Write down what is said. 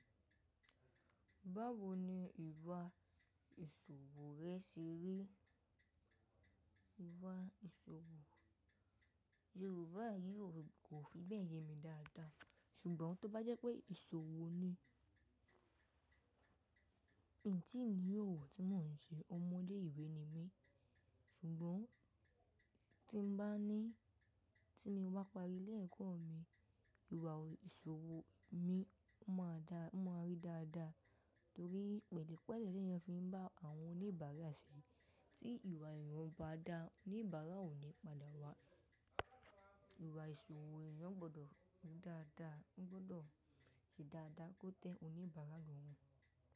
Báwo ni ìwà ìṣòwò rẹ ṣe rí? Ìwà ìṣòwò Yorùbá yi ò kò fi bẹ́ẹ̀ yemi dáadáa ṣùgbọ́n tó bá jẹ́ pé ìṣòwò ni, n tí ni òwò tí mò ń ṣe, ọmọ ilé ìwé ni mí ṣùgbọ́n tí n bá ní, tí mo bá parí ilẹ́ ẹ̀kọ́ mi, ìwà ìṣòwò mi máa dá, máa rí dáadáa torí pẹ̀lúpẹ̀lú ni ẹni fi ń bá àwọn oníbàárà ṣe tí ìwà èèyàn bá dá oníbàárà ò ní padà wá. Ìwà ìṣòwò èèyàn gbọdọ̀ dáadáa, gbọdọ̀ ṣe dáadáa kó tẹ́ oníbàárà lọ́hun.